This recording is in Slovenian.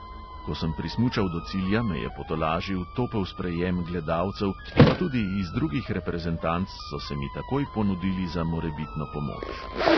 Ko sem prismučal do cilja, me je potolažil topel sprejem gledalcev, pa tudi iz drugih reprezentanc so se mi takoj ponudili za morebitno pomoč.